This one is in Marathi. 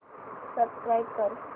सबस्क्राईब कर